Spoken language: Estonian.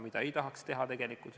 Seda ei tahaks tegelikult teha.